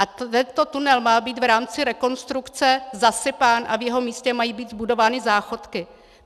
A tento tunel má být v rámci rekonstrukce zasypán a v jeho místě mají být zbudovány záchodky.